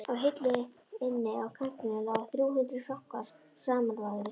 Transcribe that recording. Á hillu inni á kamrinum lágu þrjú hundruð frankar samanvafðir.